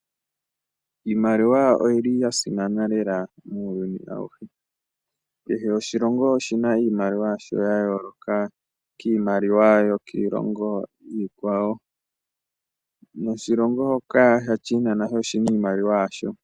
Iimaliwa oyili yasimana lela muuyuni awuhe kehe oshilongo oshina iimaliwa yasho yaayooloka kiimaliwa yokiilongo iikwawo noshilongo shoka sha China oshina iimaliwa yasho.